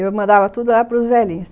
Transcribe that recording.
E... eu mandava tudo lá pros velhinhos.